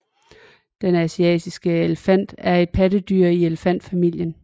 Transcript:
Den asiatiske elefant er et pattedyr i elefantfamilien